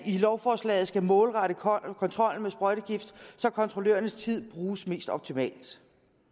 lovforslaget skal målrette kontrollen med sprøjtegift så kontrollørernes tid bruges mest optimalt